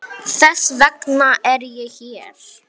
Þess vegna er ég hér.